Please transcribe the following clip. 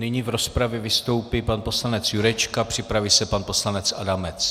Nyní v rozpravě vystoupí pan poslanec Jurečka, připraví se pan poslanec Adamec.